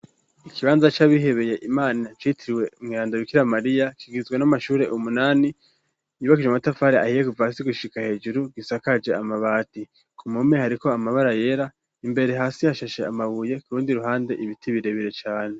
Ikibanza c'abihebeye imana citiriwe Mweranda Bikira Mariya kigizwe n'amashuri umunani .Yubakije amatafari ahiye guva si gushika hejuru gisakaje amabati ku mpome hariko amabara yera imbere hasi yashashe amabuye kurundi ruhande ibiti birebire cane.